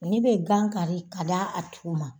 Ne be gankari ka d'a tigiw ma